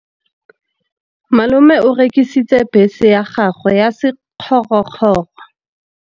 Malome o rekisitse bese ya gagwe ya sekgorokgoro.